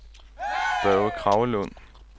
Børge Kragelund